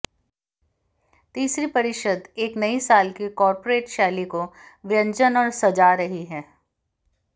तीसरी परिषद एक नई साल की कॉर्पोरेट शैली को व्यंजन और सजा रही है